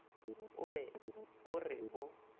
o be o re o